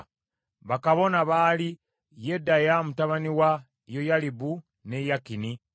Bakabona baali: Yedaya mutabani wa Yoyalibu, ne Yakini,